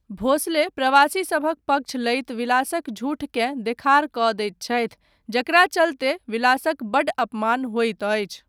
भोंसले प्रवासीसभक पक्ष लैत विलासक झूठकेँ देखार कऽ दैत छथि, जकरा चलते विलासक बड्ड अपमान होइत अछि।